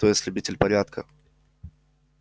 то есть любитель порядка